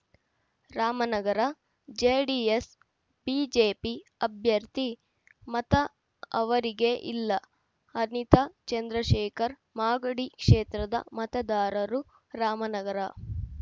Ramanagara JDS BJP ಅಭ್ಯರ್ಥಿ ಮತ ಅವರಿಗೇ ಇಲ್ಲ ಅನಿತಾ ಚಂದ್ರಶೇಖರ್‌ ಮಾಗಡಿ ಕ್ಷೇತ್ರದ ಮತದಾರರು ರಾಮನಗರ